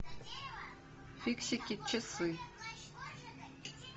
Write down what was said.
фиксики часы